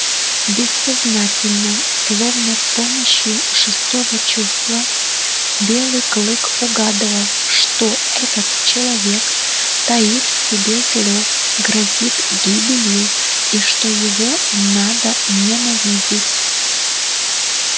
бессознательно словно с помощью шестого чувства белый клык угадывал что этот человек таит в себе зло грозит гибелью и что его надо ненавидеть